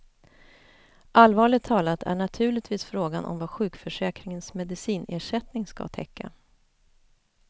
Allvarligt talat är naturligtvis frågan om vad sjukförsäkringens medicinersättning ska täcka.